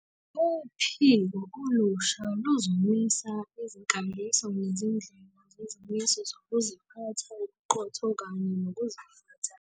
Uphiko olusha luzomisa izinkambiso nezindlela zezimiso zokuziphatha, ubuqotho kanye nokuziphatha.